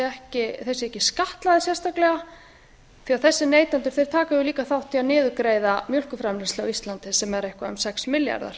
þeir séu ekki skattlagðir sérstaklega því þessir neytendur taka líka þátt í að niðurgreiða mjólkurframleiðslu á íslandi sem er eitthvað um sex milljarðar